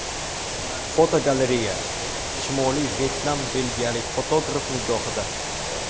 Fotogalereya: Shimoliy Vyetnam belgiyalik fotograf nigohida.